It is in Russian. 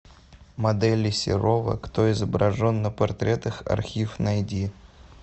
моделей серова кто изображен на портретах архив найди